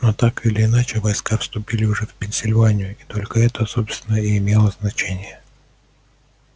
но так или иначе войска вступили уже в пенсильванию и только это собственно и имело значение